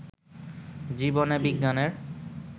জীবনে বিজ্ঞানের